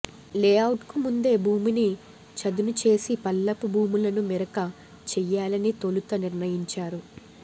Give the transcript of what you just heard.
లే అవుట్కు ముందే భూమిని చదును చేసి పల్లపు భూములను మెరక చెయ్యాలని తొలుత నిర్ణయించారు